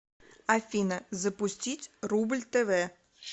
афина запустить рубль тв